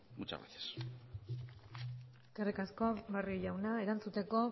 muchas gracias eskerrik asko barrio jauna erantzuteko